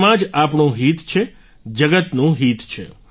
તેમાં જ આપણું હિત છે જગતનું હિત છે